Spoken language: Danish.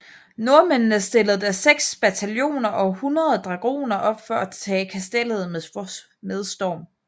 Nordmændene stillede da seks bataljoner og hundrede dragoner op for at tage kastellet med storm